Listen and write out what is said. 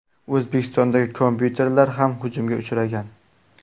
O‘zbekistondagi kompyuterlar ham hujumga uchragan.